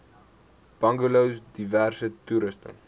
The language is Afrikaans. bungalows diverse toerusting